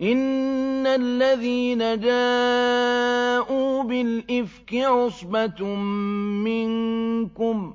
إِنَّ الَّذِينَ جَاءُوا بِالْإِفْكِ عُصْبَةٌ مِّنكُمْ ۚ